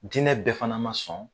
Diinɛ bɛɛ fana ma sɔn